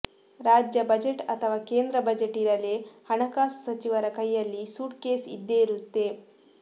ರಾಜ್ಯ ಬಜೆಟ್ ಅಥವಾ ಕೇಂದ್ರ ಬಜೆಟೇ ಇರಲಿ ಹಣಕಾಸು ಸಚಿವರ ಕೈಯಲ್ಲಿ ಸೂಟ್ ಕೇಸ್ ಇದ್ದೇ ಇರುತ್ತೆ